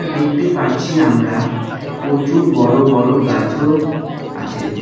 দেখতে পাচ্ছি আমরা প্রচুর বড় বড় গাছও আছে।